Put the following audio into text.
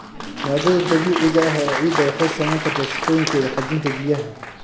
Maaddada dabiiciga ah ee ciidda waxay saameyn kartaa sifooyinkeeda xajinta biyaha.